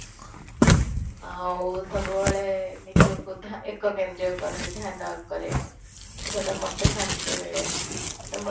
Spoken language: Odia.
ଆଉ ସବୁବେଳେ ନିଜକୁ ଏକ କେନ୍ଦ୍ରୀୟ କରେ ଧ୍ୟାନ କରେ ସେ ଗୁଡ଼ା ମୋତେ ଶାନ୍ତି ମିଳେ ତ ମୋତେ